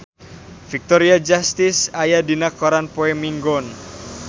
Victoria Justice aya dina koran poe Minggon